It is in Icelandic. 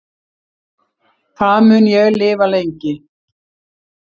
Hvað mun ég lifa lengi